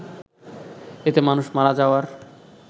এতে মানুষ মারা যাওয়ার